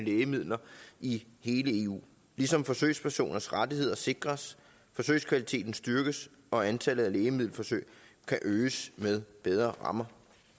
lægemidler i hele eu ligesom forsøgspersoners rettigheder sikres forsøgskvaliteten styrkes og antallet af lægemiddelforsøg kan øges med bedre rammer